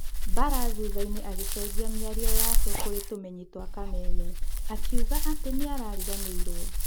Bara thuthainĩ agĩcenjia mĩario yake kũrĩ tũmenyi twa Kameme, akĩuga atĩ nĩarariganĩirwo.